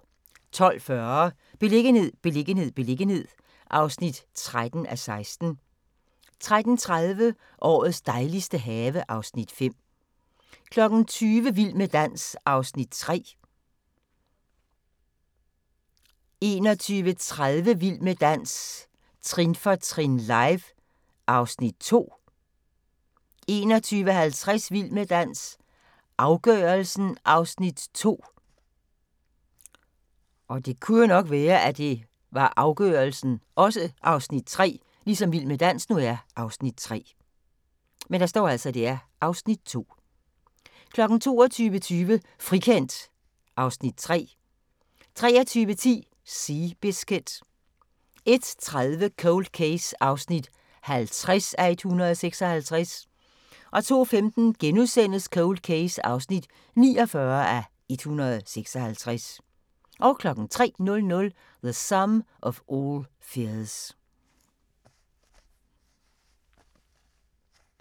12:40: Beliggenhed, beliggenhed, beliggenhed (13:16) 13:30: Årets dejligste have (Afs. 5) 20:00: Vild med dans (Afs. 3) 21:30: Vild med dans – trin for trin, live (Afs. 2) 21:50: Vild med dans – afgørelsen (Afs. 2) 22:20: Frikendt (Afs. 3) 23:10: Seabiscuit 01:30: Cold Case (50:156) 02:15: Cold Case (49:156)* 03:00: The Sum of All Fears